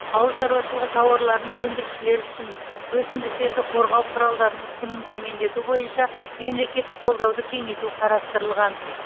ауыл шаруашылығы тауарларын өндірушілер үшін өсімдіктерді қорғау құралдарының құнын төмендету бойынша мемлекеттік қолдауды кеңейту қарастырылған